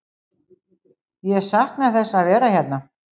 Ég sakna þess að vera hérna.